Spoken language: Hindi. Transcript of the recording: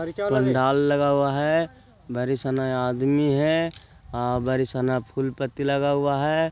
पंडाल लगा हुआ है बरी सना आदमी है बरी सना फूल पत्ती लगा हुआ है।